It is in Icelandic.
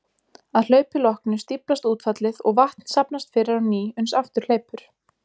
Að hlaupi loknu stíflast útfallið og vatn safnast fyrir á ný uns aftur hleypur.